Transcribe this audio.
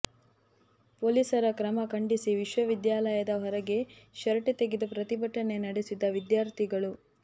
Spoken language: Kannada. ಪೊಲೀಸರ ಕ್ರಮ ಖಂಡಿಸಿ ವಿಶ್ವವಿದ್ಯಾಲಯದ ಹೊರಗೆ ಶರ್ಟ್ ತೆಗೆದು ಪ್ರತಿಭಟನೆ ನಡೆಸಿದ ವಿದ್ಯಾರ್ಥಿಗಳು